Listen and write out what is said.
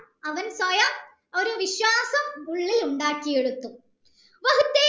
അവൻ സ്വയം ഒരു വിശ്വാസം ഉള്ളിലുണ്ടാക്കിയെടുത്തു